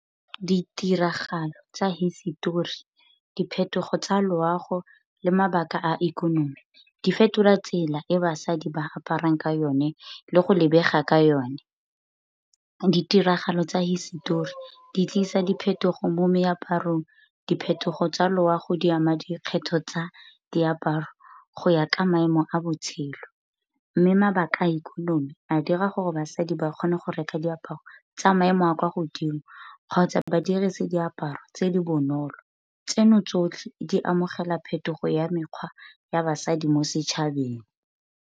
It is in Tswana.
Ditiragalo tsa hisetori, diphetogo tsa loago, le mabaka a ikonomi, di fetola tsela e basadi ba aparang ka yone le go lebega ka yone. Ditiragalo tsa hisetori di tlisa diphetogo mo meaparong, diphetogo tsa loago di ama dikgetho tsa diaparo go ya ka maemo a botshelo. Mme mabaka a ikonomi a dira gore basadi ba kgone go reka diaparo tsa maemo a kwa godimo kgotsa ba dirise diaparo tse di bonolo. Tseno tsotlhe di amogela phetogo ya mekgwa ya basadi mo setšhabeng.